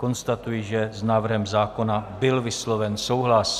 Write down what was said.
Konstatuji, že s návrhem zákona byl vysloven souhlas.